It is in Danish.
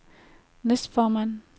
næstformand